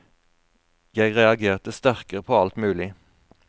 Jeg reagerte sterkere på alt mulig.